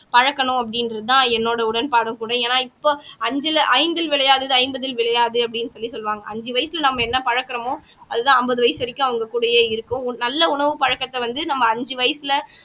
பழக்கணும் அப்படின்றதுதான் என்னோட உடன்படும் கூட ஏன்னா இப்போ அஞ்சுல ஐந்தில் விளையாதது ஐம்பதில் விளையாது அப்படின்னு சொல்லி சொல்லுவாங்க அஞ்சு வயசுல நம்ம என்ன பழக்குறோமோ அதுதான் ஐம்பது வயசு வரைக்கும் அவங்க கூடயே இருக்கும் ஒரு நல்ல உணவு பழக்கத்தை வந்து நம்ம அஞ்சு வயசுல